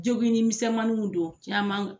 Jogin ni misɛnmanuw don ca man.